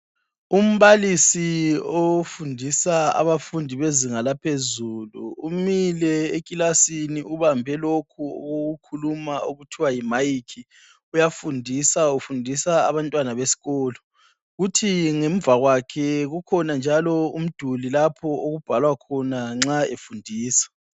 Umbalisi ofundisa abafundi bezinga laphezulu umile ekilasini ubambe lokhu okokukhuluma okuthiwa yi mayikhi, uyafundisa ufundisa abantwana besikolo. Kuthi ngemuva kwakhe kukhona njalo umduli okubhalwa khona nxa efundisa.